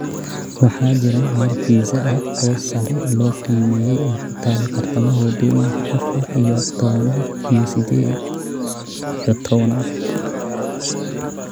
waxaa jira meel pizza ah oo sare loo qiimeeyay oo ku taal bartamaha waddooyinka afar iyo tobnaad iyo siddeed iyo tobnaad